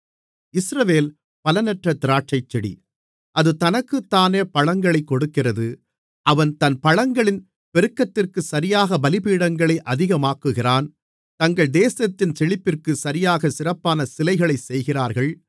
இஸ்ரவேல் பலனற்ற திராட்சைச்செடி அது தனக்குத்தானே பழங்களைக் கொடுக்கிறது அவன் தன் பழங்களின் பெருக்கத்திற்குச் சரியாகப் பலிபீடங்களை அதிகமாக்குகிறான் தங்கள் தேசத்தின் செழிப்பிற்குச் சரியாகச் சிறப்பான சிலைகளைச் செய்கிறார்கள்